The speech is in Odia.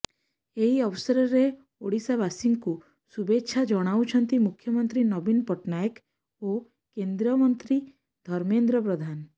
ଏହି ଅବସରରେ ଓଡ଼ିଶାବାସୀଙ୍କୁ ଶୁଭେଚ୍ଛା ଜଣାଇଛନ୍ତି ମୁଖ୍ୟମନ୍ତ୍ରୀ ନବୀନ ପଟ୍ଟନାୟକ ଓ କେନ୍ଦ୍ରମନ୍ତ୍ରୀ ଧର୍ମେନ୍ଦ୍ର ପ୍ରଧାନ